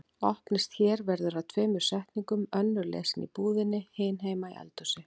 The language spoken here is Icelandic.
Opnist hér verður að tveimur setningum, önnur lesin í búðinni, hin heima í eldhúsi.